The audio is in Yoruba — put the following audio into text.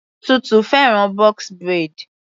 Tutu fẹ́ràn box braid.